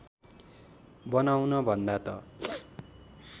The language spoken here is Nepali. बनाउन भन्दा त